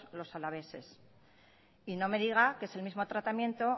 los alaveses y no me diga que es el mismo tratamiento